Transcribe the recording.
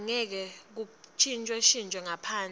angeke kuntjintjwe ngaphandle